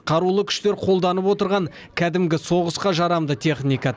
қарулы күштер қолданып отырған кәдімгі соғысқа жарамды техника